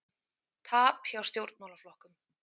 Tap hjá stjórnmálaflokkum